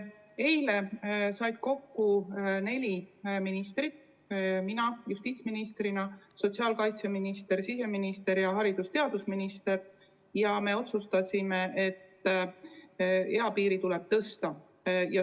Eile said kokku neli ministrit – mina justiitsministrina, sotsiaalkaitseminister, siseminister ja haridus- ja teadusminister – ning me otsustasime, et seda eapiiri tuleb tõsta.